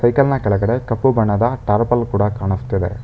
Cycle ನ ಕೆಳಗಡೆ ಕಪ್ಪು ಬಣ್ಣದ ಟಾರ್ಪಲ್ ಕೂಡ ಕಾಣಿಸ್ತಿದೆ.